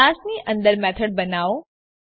ક્લાસની અંદર મેથડ બનાવો